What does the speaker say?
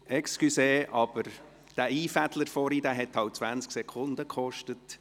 Entschuldigung, aber dieses Einfädeln vorhin hat halt 20 Sekunden gekostet.